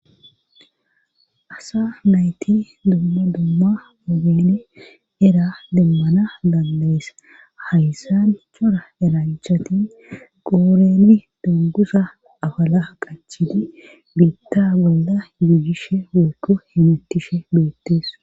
Asa nayti dumma dumma mogeni era demmana dandayes hayssan chora eranchatin gooreni dungusa afala qachidi biitta bolla yuuyishe woyko hemettishe beettees.